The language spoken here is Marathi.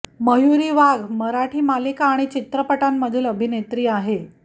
मयुरी वाघ मराठी मालिका आणि चित्रपटांमधील अभिनेत्री आहे